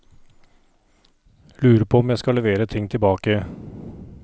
Lurer på om jeg skal levere ting tilbake.